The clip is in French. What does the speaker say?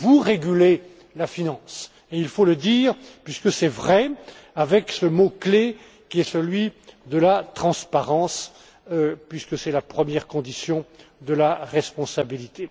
Oui, vous régulez la finance. Il faut le dire, puisque c'est vrai, avec ce mot clé qui est celui de la transparence, puisque c'est la première condition de la responsabilité.